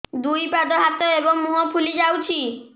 ଦୁଇ ପାଦ ହାତ ଏବଂ ମୁହଁ ଫୁଲି ଯାଉଛି